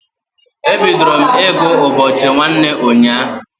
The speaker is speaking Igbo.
E bidoro m ị gụ ụbọchị nwanne ụnyaahụ.